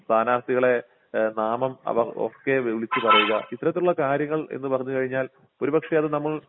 സ്ഥാനാർഥികളെ ഏഹ് നാമം അവർ ഒക്കെ വിളിച്ചുപറയുക ഇത്തരത്തിലുള്ള കാര്യങ്ങൾ എന്നു പറഞ്ഞു കഴിഞ്ഞാൽ ഒരുപക്ഷേ അത് നമ്മൾ